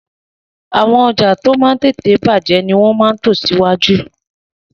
Àwọn ọjà tí ó máa ń tètè bàjẹ́ ni wọ́n máa ń tò sí iwájú